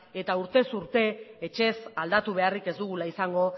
eta urtez urte etxez aldatu beharrik ez dugula izango